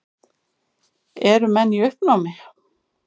Eru menn í uppnámi?